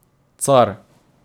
Car.